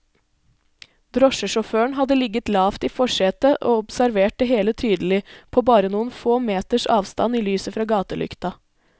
Drosjesjåføren hadde ligget lavt i forsetet og observert det hele tydelig, på bare noen få meters avstand i lyset fra gatelykta.